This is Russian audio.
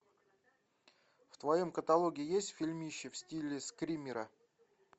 в твоем каталоге есть фильмище в стиле скримера